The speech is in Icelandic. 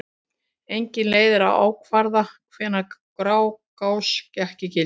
Engin leið er að ákvarða hvenær Grágás gekk í gildi.